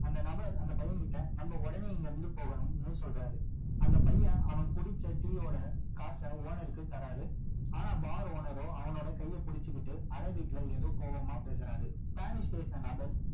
அந்த நபர் அந்த பையன் கிட்ட நம்ம உடனே இங்க இருந்து போகணும்னு சொல்றாரு அந்த பையன் அவன் குடிச்ச டீயோட காச owner க்கு தராரு ஆனா bar owner ரோ அவனோட கையை பிடிச்சிகிட்டு அரேபிக்ல ஏதோ கோபமா பேசுறாரு spanish பேசுன நபர்